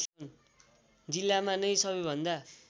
जिल्लामा नै सबैभन्दा